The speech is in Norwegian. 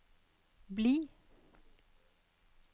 bli